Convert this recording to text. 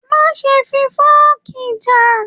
Má ṣe fi fọọ̀kí já!